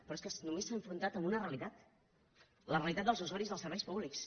però és que només s’ha enfrontat a una realitat la realitat dels usuaris dels serveis públics